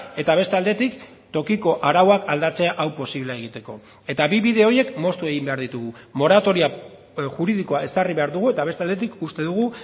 eta beste aldetik tokiko arauak aldatzea hau posible egiteko eta bi bide horiek moztu egin behar ditugu moratoria juridikoa ezarri behar dugu eta beste aldetik uste dugu